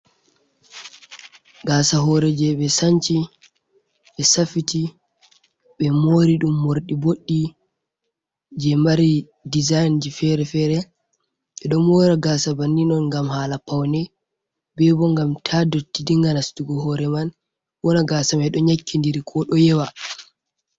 Gasa hore je ɓe sanci, ɓe safiti, ɓe mori ɗum morɗi boɗɗi je mari dezain je fere-fere, ɓe ɗon mora gasa bannin on ngam hala paune, bebo ngam ta dotti dinga nastugo hore man wonna gasa mai ɗo nyakkidiri ko ɗo yewa.